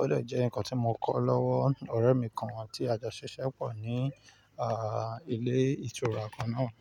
Ó deje ǹkan tí mo kọ́ lọ́wọ́ ọ̀rẹ́ mi kan tí a jọ ṣiṣẹ́ pọ̀ ní, ààh, ni ilé ìtura kan náà.